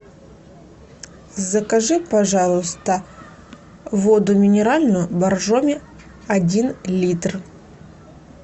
закажи пожалуйста воду минеральную боржоми один литр